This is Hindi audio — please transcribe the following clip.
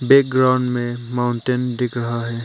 बैकग्राउंड में माउंटेन दिख रहा है।